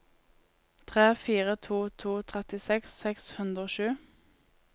tre fire to to trettiseks seks hundre og sju